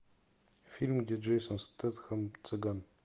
фильм где джейсон стэтхэм цыган